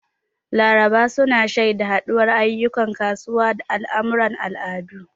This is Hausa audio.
Laraba su na shaida haɗuwar ayyukan kasuwa da al'amuran al'adu.